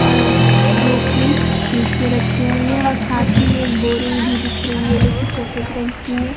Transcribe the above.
और जो कि नीचे रखी हुई हैं और साथ ही में एक बोरी भी दिख रही है जो कि सफेद रंग की है।